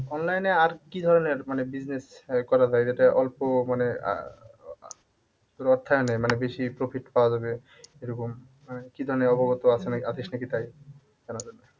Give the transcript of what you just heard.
Online এ আর কি ধরণের মানে business করা যায় যেটাই অল্প মানে আহ মানে বেশি profit পাওয়া যাবে এরকম কি ধরণের অবগত আছে নাকি আছিস নাকি তাই জানার জন্যে।